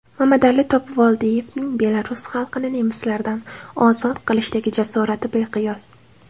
Mamadali Topivoldiyevning belarus xalqini nemislardan ozod qilishdagi jasorati beqiyos.